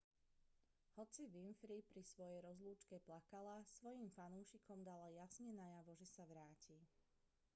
hoci winfrey pri svojej rozlúčke plakala svojim fanúšikom dala jasne najavo že sa vráti